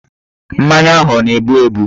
Mmanya ahụ ọ na-ebu ebu?